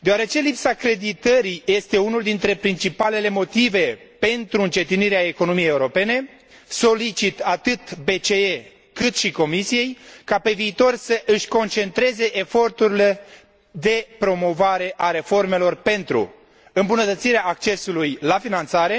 Deoarece lipsa creditării este unul dintre principalele motive pentru încetinirea economiei europene, solicit atât Băncii Centrale Europene, cât și Comisiei ca, pe viitor, să își concentreze eforturile de promovare a reformelor pentru îmbunătățirea accesului la finanțare,